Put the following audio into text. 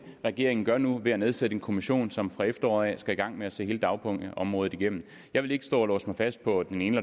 regeringen gør nu ved at nedsætte en kommission som fra efteråret af skal i gang med at se hele dagpengeområdet igennem jeg vil ikke stå og låse mig fast på den ene